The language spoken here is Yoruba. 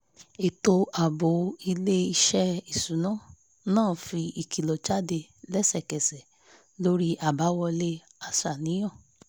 ètò ààbò ilé-iṣẹ́ iṣuna náà fi ìkìlọ̀ jáde lẹ́sẹ̀kẹsẹ̀ lórí àbáwọlé aṣàníyàn